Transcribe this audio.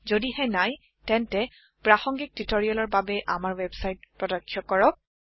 যদিহে নাই তেন্তে প্ৰাসংগিক টিউটৰিয়েলৰ বাবে আমাৰ ৱেবছাইট প্ৰত্যক্ষ কৰক